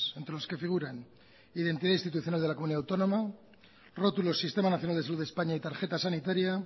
entre los que figuran identidad institucional de la comunidad autónoma rótulo del sistema nacional de salud de españa y tarjeta sanitaria